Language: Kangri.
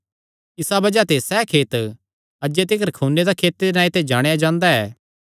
इसा बज़ाह ते सैह़ खेत अज्जे तिकर खूने दा खेते दे नांऐ ते जाणेयां जांदा ऐ